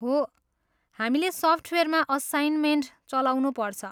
हो, हामीले सफ्टवेयरमा असाइनमेन्ट चलाउनुपर्छ।